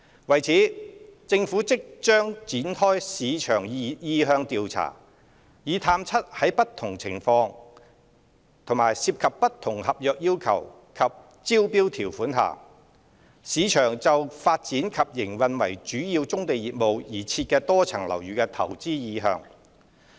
為此，政府即將展開市場意向調查，以探測在不同情況及涉及不同合約要求及招標條款下，市場就發展及營運為主要棕地業務而設的多層樓宇的投資意向。